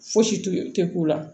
Fosi tɛ k'u la